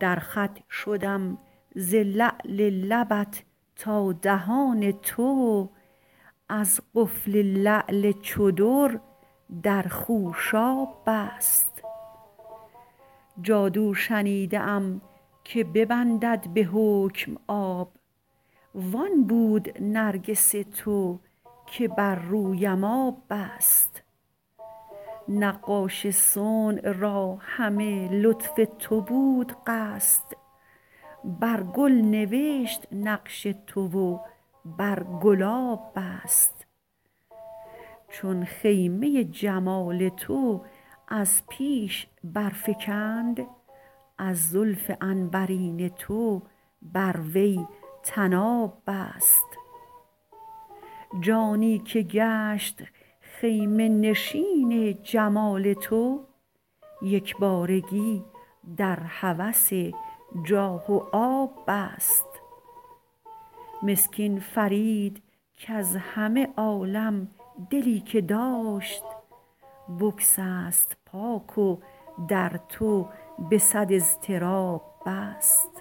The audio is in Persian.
در خط شدم ز لعل لبت تا دهان تو از قفل لعل چو در در خوشاب بست جادو شنیده ام که ببندد به حکم آب وان بود نرگس تو که بر رویم آب بست نقاش صنع را همه لطف تو بود قصد بر گل نوشت نقش تو و بر گلاب بست چون خیمه جمال تو از پیش برفگند از زلف عنبرین تو بر وی طناب بست جانی که گشت خیمه نشین جمال تو یکبارگی در هوس جاه و آب بست مسکین فرید کز همه عالم دلی که داشت بگسست پاک و در تو به صد اضطراب بست